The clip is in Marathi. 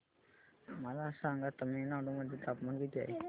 मला सांगा तमिळनाडू मध्ये तापमान किती आहे